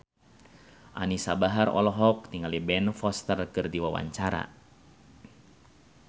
Anisa Bahar olohok ningali Ben Foster keur diwawancara